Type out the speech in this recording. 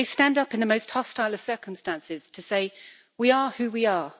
They stand up in the most hostile of circumstances to say We are who we are.